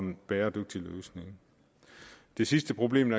en bæredygtig løsning det sidste problem